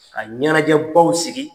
Ka ɲɛnajɛbaw sigi.